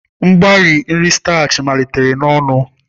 Mgbari nri statchị malitere n'ọnụ.